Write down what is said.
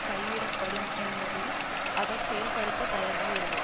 கைவிடப்படும் என்பதை அவர் செயல்படுத்த தயாராக இல்லை